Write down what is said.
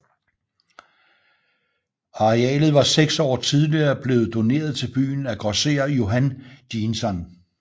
Arealet var seks år tidligere blevet doneret til byen af grosserer Johan Jeansson